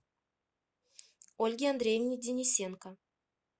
ольге андреевне денисенко